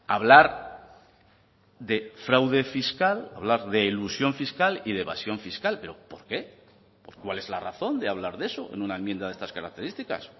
hablar de fraude fiscal hablar de elusión fiscal y de evasión fiscal pero por qué cuál es la razón de hablar de eso en una enmienda de estas características